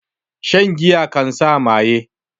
Shan giya kan sa maye